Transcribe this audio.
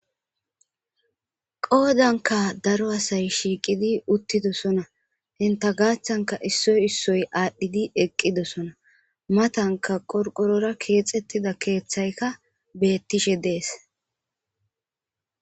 Qoodankka daro asay shiiqidi uttidosona. Entta gaathankka issoy issoy aadhidi eqqidosona . Matankka qorqorora keexetida keeththaykka beetishe de7ees.